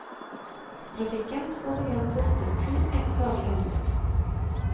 Trafikken skal begrenses til kun ett daglig anløp.